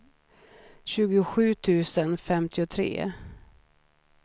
sjuttiosju tusen femtiotre